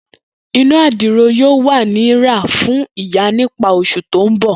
Ina adiro yoo wa ni ra fun iya nipa osu to nbo.